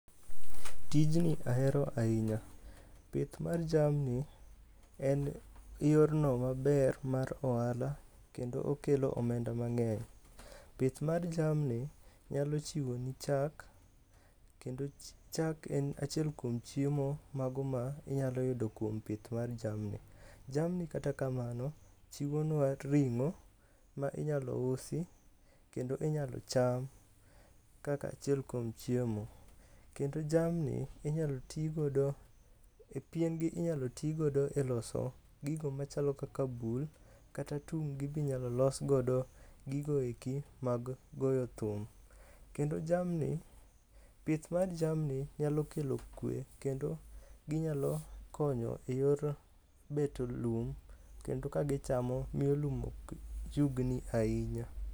Tijni ahero ahinya. Pith mar jamni en yorno maber mar ohala kendo okelo omenda mang'eny. Pith mar jamni nyalo chiwo ni chak kendo chak en achiel kuom chiemo mago minyalo yudo kuom pith mar jamni. Jamni kata kamano chiwo nwa ring'o ma inyalo usi kendo inyalo cham kaka achiel kuom chiemo. Kendo jamni inyal tigodo e piengi inyalo tigodo e loso gigo machalo kaka bul kata tung gi inyalo los godo gigo eki mag goyo thum. Kendo jamni pith mar jamni nyalo kelo kwe kendo ginyalo konyo e yor beto lum kendo ka gichamo miyo lum ok yugni ahinya.